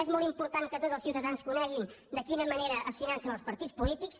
és molt important que tots els ciutadans coneguin de quina manera es financen els partits polítics